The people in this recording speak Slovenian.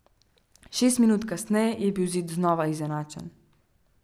Šest minut kasneje je bil izid znova izenačen.